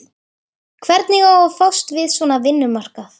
Hvernig á að fást við svona vinnumarkað?